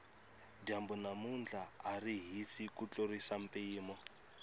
dyambu namuntlha ari hisi ku tlurisa mpimo